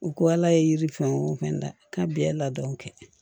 U ko ala ye yiri fɛn o fɛn da ka bɛn ladɔn